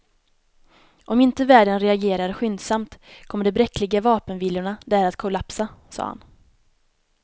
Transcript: Om inte världen reagerar skyndsamt kommer de bräckliga vapenvilorna där att kollapsa, sade han.